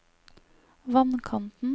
vannkanten